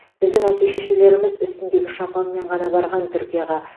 біздің әке шешелеріміз үстіндегі шапанмен ғана барған түркияға